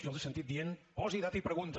jo els he sentit dient posa data i pregunta